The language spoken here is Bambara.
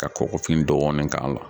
Ka kɔkɔfin dɔɔni k'a la.